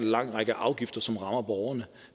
lang række afgifter som rammer borgerne